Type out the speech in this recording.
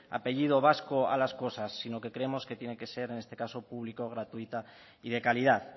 apellido vasco a las cosas sino que creemos que tiene que ser en este caso público gratuita y de calidad